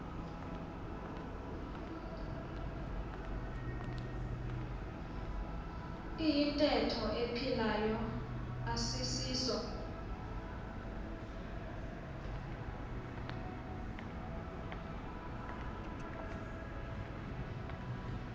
iyintetho ephilayo asisiso